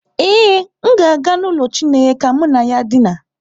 Ee, m ga-aga n'ụlọ chineye ka mụ na ya dina.